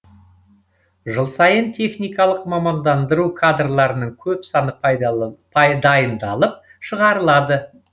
жыл сайын техникалық мамандандыру кадрларының көп саны дайындалып шығарылады